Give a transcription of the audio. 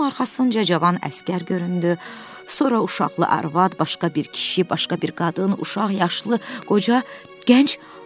Onun arxasınca cavan əsgər göründü, sonra uşaqlı arvad, başqa bir kişi, başqa bir qadın, uşaq, yaşlı, qoca, gənc.